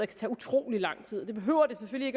tage utrolig lang tid det behøver det selvfølgelig